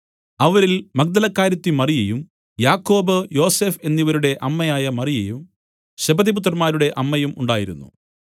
അവരിൽ മഗ്ദലക്കാരത്തി മറിയയും യാക്കോബ് യോസഫ് എന്നിവരുടെ അമ്മയായ മറിയയും സെബെദിപുത്രന്മാരുടെ അമ്മയും ഉണ്ടായിരുന്നു